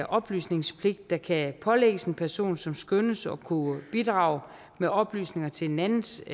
oplysningspligt der kan pålægges en person som skønnes at kunne bidrage med oplysninger til en andens